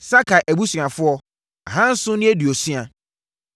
Sakai abusuafo tcr2 760 tc1